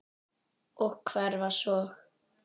Og hverfa svo.